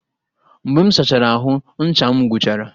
Mgbe m sachara ahụ, ncha m gwụchara